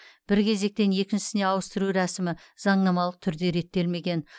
бір кезектен екіншісіне ауыстыру рәсімі заңнамалық түрде реттелмеген